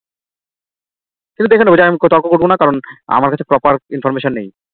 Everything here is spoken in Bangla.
কিন্তু দেখে নেব যে আমি তর্ক করব না কারণ আমার কাছে proper Information নেই